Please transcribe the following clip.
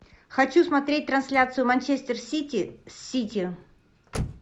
хочу смотреть трансляцию манчестер сити с сити